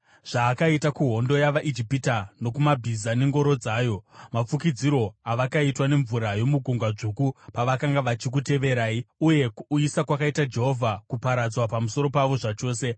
zvaakaita kuhondo yavaIjipita, nokumabhiza nengoro dzayo, mafukidzirwo avakaitwa nemvura yomuGungwa Dzvuku pavakanga vachikuteverai, uye kuuyisa kwakaita Jehovha kuparadzwa pamusoro pavo zvachose.